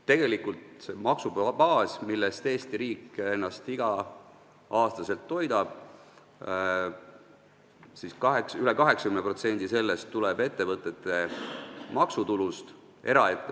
Tegelikult üle 80% sellest maksubaasist, millest Eesti riik ennast igal aastal toidab, tuleb ettevõtete maksutulust .